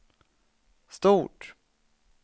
stort